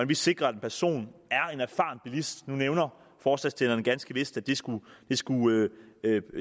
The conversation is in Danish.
vi sikrer at en person er en erfaren bilist nu nævner forslagsstillerne ganske vist at det skulle skulle